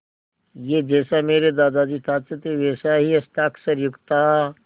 यह जैसा मेरे दादाजी चाहते थे वैसा ही हस्ताक्षरयुक्त था